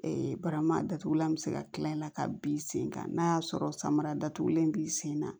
barama datugulan bɛ se ka kila i la ka bin sen kan n'a y'a sɔrɔ samara datugulen b'i sen na